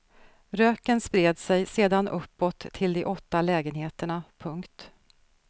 Röken spred sig sedan uppåt till de åtta lägenheterna. punkt